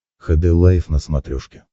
хд лайф на смотрешке